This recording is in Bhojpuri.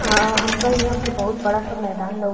आ हमका इहां पर बहुत बड़ा सा मैदान लउ --